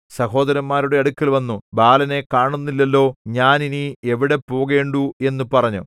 സഹോദരന്മാരുടെ അടുക്കൽ വന്നു ബാലനെ കാണുന്നില്ലല്ലോ ഞാൻ ഇനി എവിടെ പോകേണ്ടു എന്നു പറഞ്ഞു